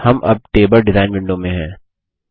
हम अब table design window में हैं